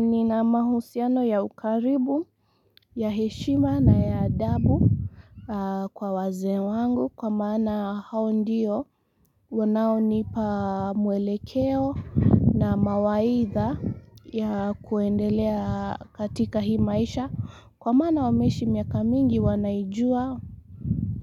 Nina mahusiano ya ukaribu, ya heshima na ya adabu. Kwa wazee wangu kwa maana hao ndiyo wanao nipa mwelekeo na mawaitha ya kwendelea katika hii maisha kwa maana wameshi miaka mingi wanaijua.